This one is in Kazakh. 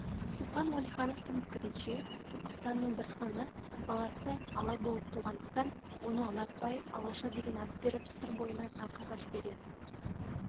шоқан уәлихановтың пікірінше түркістанның бір ханы баласы ала болып туғандықтан оны ұнатпай алаша деген ат беріп сыр бойынан арқаға жібереді